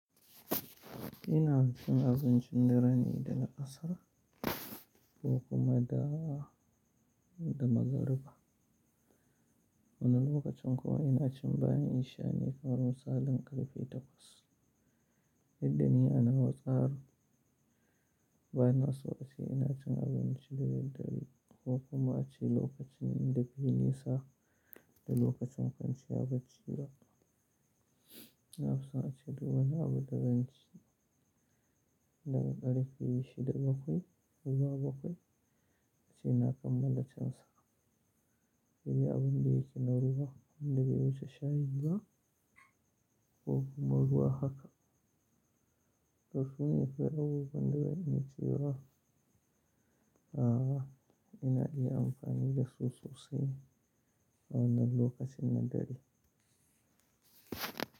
Ina cin abincin dare ne da la'asara ko kuma da, da magariba. Wani lokacin kuwa ina cin bayan isha ne kamar misalin ƙarfe takwas. Duk da ni a nawa tsari, bana so a ce ina cin abinci da daddare ko kuma a ce lokacin da bai yi nisa da lokacin kwanciya bacci ba. Na fi son a ce du wani abin da zan ci daga ƙarfe shida bakwai zuwa bakwai. A ce na kammala cin sa. Sai dai abin da yake na ruwa wanda bai wuce shayi ba ko kuma ruwa haka. Tarsu ne kawai abubuwan da ba zan iya ci ba a'a, ina iya amfani da sososi a wannan lokacin na dare.